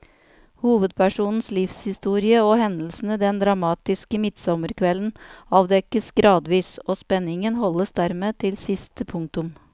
Hovedpersonens livshistorie og hendelsene den dramatiske midtsommerkvelden avdekkes gradvis, og spenningen holdes dermed til siste punktum.